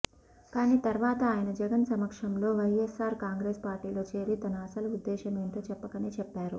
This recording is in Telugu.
కానీ తర్వాత ఆయన జగన్ సమక్షంలో వైఎస్సార్ కాంగ్రెస్ పార్టీలో చేరి తన అసలు ఉద్దేశమేంటో చెప్పకనే చెప్పారు